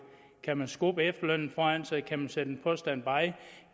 kan man skubbe efterlønnen foran sig kan man sætte på standby